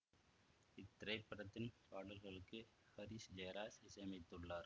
இத்திரைப்படத்தின் பாடல்களுக்கு ஹரிஸ் ஜெயராஜ் இசையமைத்துள்ளார்